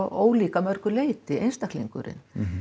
ólík að mörgu leyti einstaklingarnir